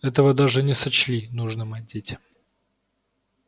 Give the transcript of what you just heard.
этого даже не сочли нужным одеть